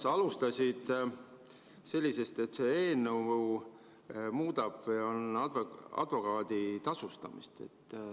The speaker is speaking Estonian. Aga sa alustasid sellest, et see eelnõu muudab advokaadi tasustamist.